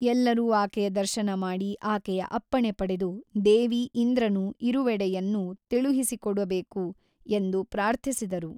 ಎಲ್ಲರೂ ಆಕೆಯ ದರ್ಶನ ಮಾಡಿ ಆಕೆಯ ಅಪ್ಪಣೆ ಪಡೆದು ದೇವಿ ಇಂದ್ರನು ಇರುವೆಡೆಯನ್ನು ತಿಳುಹಿಸಿಕೊಡಬೇಕು ಎಂದು ಪ್ರಾರ್ಥಿಸಿದರು.